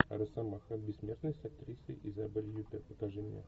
росомаха бессмертный с актрисой изабель юппер покажи мне